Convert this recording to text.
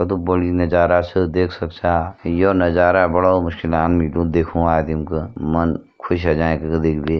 कतु बड़ीया नजारा छ देख सक छा य नजारा बडो मुश्किलांक मिल्दू देख्युणु आदम ग मन खुश हुए जाएं कति देख दी ।